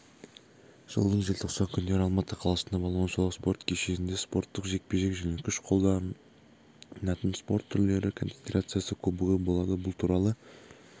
жылдың желтоқсан күндері алматы қаласында балуан шолақ спорт кешенінде спорттық жекпе-жек және күш қолданатын спорт түрлері конфедерациясы кубогы болады бұл туралы